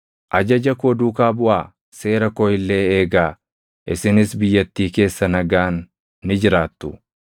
“ ‘Ajaja koo duukaa buʼaa; seera koo illee eegaa; isinis biyyattii keessa nagaan ni jiraattu.